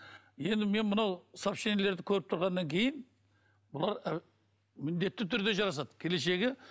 енді мен мынау сообщениелерді көріп тұрғаннан кейін бұлар міндетті түрде жарасады келешегі